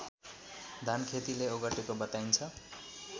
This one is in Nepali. धानखेतीले ओगटेको बताइन्छ